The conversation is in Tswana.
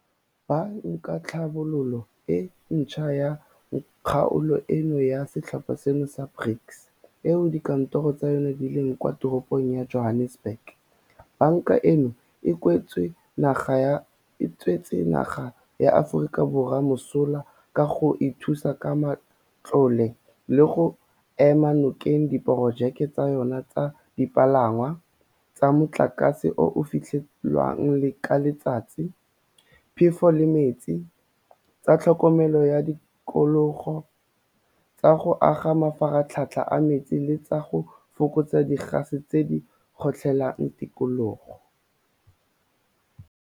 Ba nkatlhabololo e Ntšhwa ya kgaolo eno ya setlhopha seno sa BRICS, eo dikantoro tsa yona di leng kwa teropong ya Johannesburg, banka eno e tswetse naga ya Aforika Borwa mosola ka go e thusa ka matlole le go ema nokeng diporojeke tsa yona tsa dipalangwa, tsa motlakase o o fetlhiwang ka letsatsi, phefo le metsi, tsa tlhokomelo ya tikologo, tsa go aga mafaratlhatlha a metsi le tsa go fokotsa digase tse di kgotlhelang tikologo.